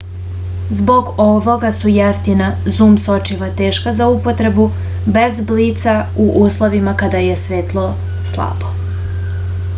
zbog ovoga su jeftina zum sočiva teška za upotrebu bez blica u uslovima kada je svetlo slabo